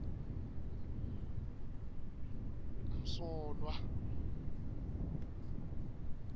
msolwa